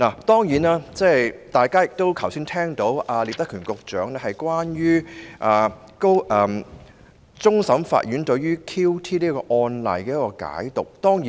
當然，大家聽到聶德權局長剛才如何解讀終審法院就 QT 一案所頒的判詞。